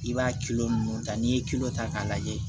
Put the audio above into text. I b'a ninnu ta n'i ye ta k'a lajɛ